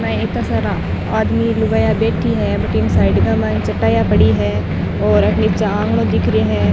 में इत्ता सारा आदमी लुगाईया बैठी है भटीन साइड का माईन चटाइयां पड़ी है नीचे आंगनो दिख रियो है।